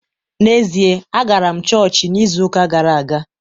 N’ezie, agara m chọọchị n’izu ụka gara aga